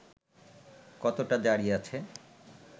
কতটা জারি আছে